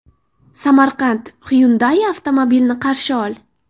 Samarqand, Hyundai avtomobilini qarshi ol!.